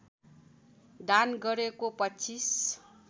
दान गरेको २५